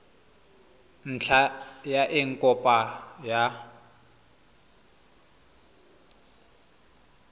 ntlha ya eng kopo ya